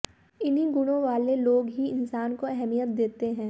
इन्हीं गुणों वाले लोग ही इंसान को अहमियत देते हैं